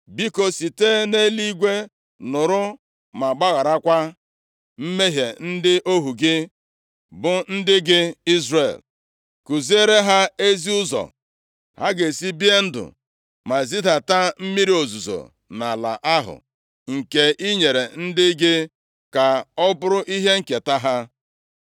Biko, site nʼeluigwe nụrụ ma gbagharakwa mmehie ndị ohu gị, bụ ndị gị Izrel. Kuziere ha ezi ụzọ ha ga-esi bie ndụ ma zidata mmiri ozuzo nʼala ahụ nke i nyere ndị gị ka ọ bụrụ ihe nketa ha.